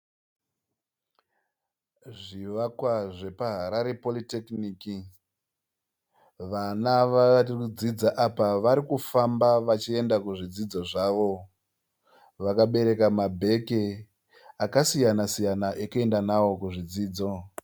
Zvivakwa zvepaHarare poritekiniki. Vana varikudzidza apa varikufamba vachienda kuzvidzidzo zvavo. Vakabereka mabheki akasiyana siyana ekuenda nawo kuzvidzidzo.